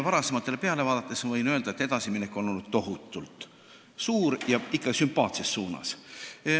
Varasematele peale vaadates võin öelda, et edasiminek on tohutult suur olnud, ja ikka sümpaatses suunas.